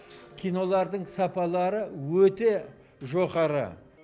кинолардың сапалары өте жоғары